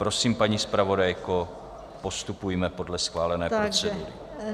Prosím, paní zpravodajko, postupujme podle schválené procedury.